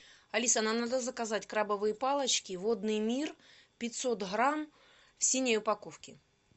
алиса нам надо заказать крабовые палочки водный мир пятьсот грамм в синей упаковке